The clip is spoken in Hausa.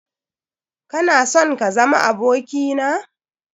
Kana sonm kazama abokina?